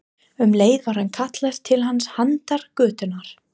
Um leið var kallað til hans handan götunnar.